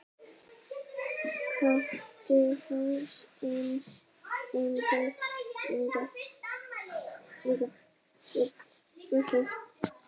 Kötu, Hannes, Emblu, Vigfús.